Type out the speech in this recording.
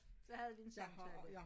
Så havde vi en samtale